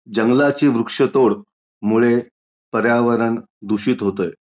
जंगलाची वृक्षतोड मुळे पर्यावरण दूषित होतंय.